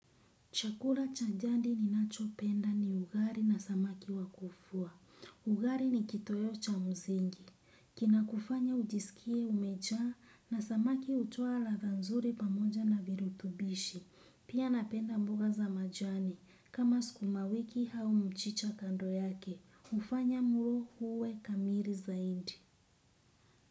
Chakula cha dhati ninachopenda ni ugali na samaki wa kuvua. Ugali ni kitoweo cha msingi. Kina kufanya ujisikie umejaa na samaki utoa ladhaa nzuri pamoja na viruthubishi. Pia napenda mboga za majani. Kama sukumawiki au mchicha kando yake. Hufanya mlo uwe kamii zaidi.